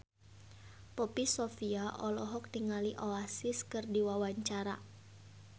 Poppy Sovia olohok ningali Oasis keur diwawancara